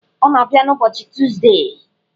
Ọ na-abịa n'ụbọchị Tuzdee.